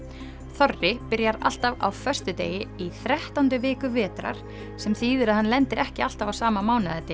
þorri byrjar alltaf á föstudegi í þrettándu viku vetrar sem þýðir að hann lendir ekki alltaf á sama